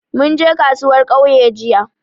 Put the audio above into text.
Mun je kasuwar ƙauye jiya